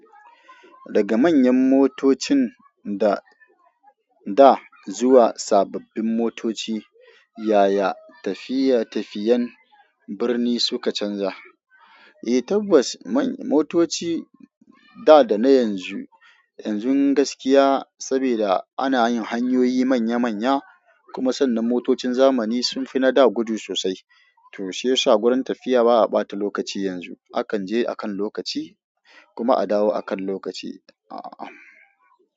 Daga manyan motocin da, da zuwa sababbin motoci, yaya tafiya tafiyan birni suka canza? Eh tabbas motoci da da na yanzu, yanzu gaskiya saboda ana yin hanyoyi manya manya kuma sannan motocin zamani sun fi na da gudu sosai. To shiyasa gurin tafiya ba a ɓata lokaci yanzu. Akan je akan lokaci kuma a dawo akan lokaci. A'a.